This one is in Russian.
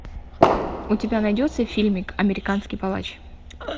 у тебя найдется фильмик американский палач